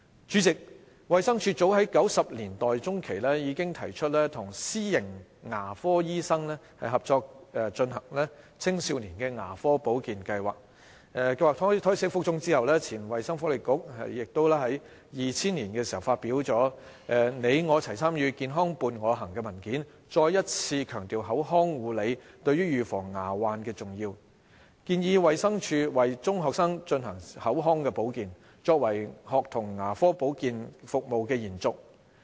主席，衞生署早於1990年代中期，已提出與私營牙科醫生合作推行青少年牙科保健計劃，計劃胎死腹中後，前衞生福利局亦於2000年發表的《你我齊參與、健康伴我行》文件，再一次強調口腔護理對預防牙患的重要，建議衞生署為中學生推行口腔保健，作為學童牙科保建服務的延續。